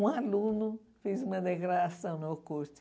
Um aluno fez uma degradação no curso.